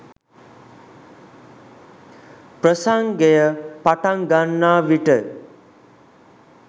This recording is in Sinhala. ප්‍රසංගය පටන් ගන්නා විට